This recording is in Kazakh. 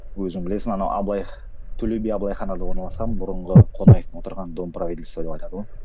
өзің білесің ана абай төле би абылай ханада орналасқан бұрынғы қонаев отырған дом правительства деп айтады ғой